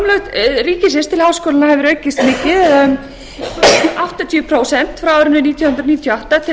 framlög ríkisins til háskólanna hefur aukist mikið eða um áttatíu prósent frá árinu nítján hundruð níutíu og átta til